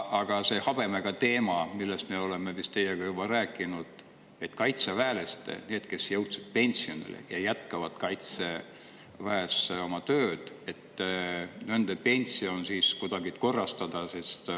Aga see habemega teema, millest me oleme teiega juba rääkinud: et nendel kaitseväelastel, kes on jõudnud pensioniikka, aga jätkavad Kaitseväes oma tööd, pension kuidagi korrastada.